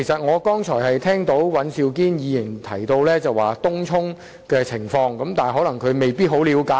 我剛才聽到尹兆堅議員提及東涌的情況，但他未必十分了解。